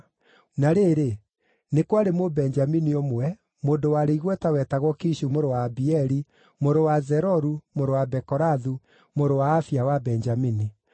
Na rĩrĩ, nĩ kwarĩ Mũbenjamini ũmwe, mũndũ warĩ igweta wetagwo Kishu mũrũ wa Abieli, mũrũ wa Zeroru, mũrũ wa Bekorathu, mũrũ wa Afia wa Benjamini.